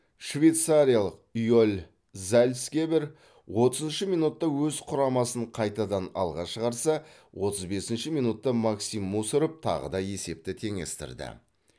швейцариялық йоэль зальцгебер отызыншы минутта өз құрамасын қайтадан алға шығарса отыз бесінші минутта максим мусоров тағы да есепті теңестірді